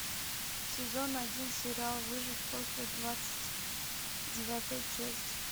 сезон один сериал выжить после двадцать девятая часть